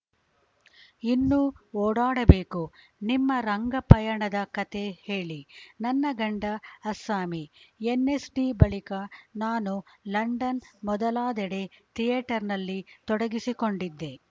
ಇನ್ನೂ ಓಡಾಡಬೇಕು ನಿಮ್ಮ ರಂಗ ಪಯಣದ ಕಥೆ ಹೇಳಿ ನನ್ನ ಗಂಡ ಅಸ್ಸಾಮಿ ಎನ್‌ಎಸ್‌ಡಿ ಬಳಿಕ ನಾನು ಲಂಡನ್‌ ಮೊದಲಾದೆಡೆ ಥಿಯೇಟರ್‌ನಲ್ಲಿ ತೊಡಗಿಸಿಕೊಂಡಿದ್ದೆ